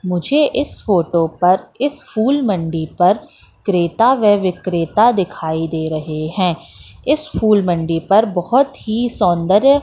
मुझे इस फोटो पर इस फूल मंडी पर क्रेटा व विक्रेटा दिखाई दे रहे है इस फूल मंडी पर बहोत ही सौंदर्य--